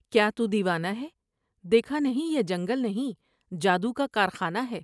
کیا تو دیوانہ ہے ، دیکھا نہیں یہ جنگل نہیں جادو کا کارخانہ ہے ۔